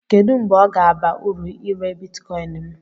Kedu mgbe ọ ga-aba uru ire Bitikoin m?